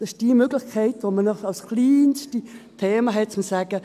Das ist die Möglichkeit, die wir noch als kleinstes Thema haben, um zu sagen: